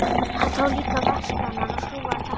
Hann tók líka vatnskranann og skrúfaði tappa í rörið.